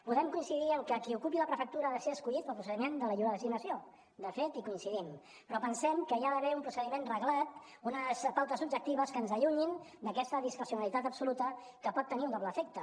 podem coincidir en que qui ocupi la prefectura ha de ser escollit pel procediment de la lliure designació de fet hi coincidim però pensem que hi ha d’haver un procediment reglat unes pautes objectives que ens allunyin d’aquesta discrecionalitat absoluta que pot tenir un doble efecte